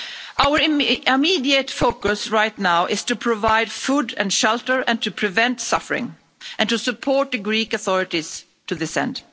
Our immediate focus right now is to provide food and shelter and to prevent suffering, and to support the Greek authorities to this end.